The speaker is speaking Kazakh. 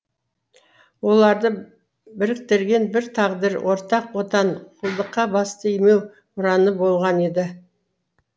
оларды біріктірген бір тағдыр ортақ отан құлдыққа басты имеу ұраны болған еді